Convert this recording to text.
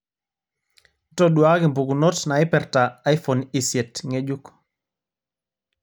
ntoduaki mpukunot naipirta iphone isiet ng'ejuk